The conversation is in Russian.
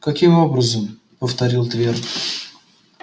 каким образом повторил твер